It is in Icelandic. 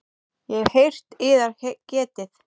Ég hef heyrt yðar getið.